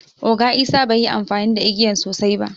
Oga isah bai yi amfani da igiyan sosai ba.